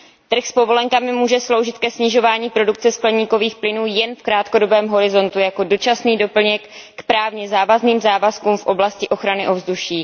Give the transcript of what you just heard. Trh s povolenkami může sloužit ke snižování produkce skleníkových plynů jen v krátkodobém horizontu jako dočasný doplněk k právně závazným závazkům v oblasti ochrany ovzduší.